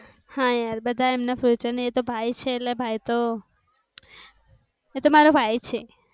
હા યર બધા એમ ના future ને તો ભાઈ છેલા ભાઈ તો. એ તો મારો ભાઈ છે.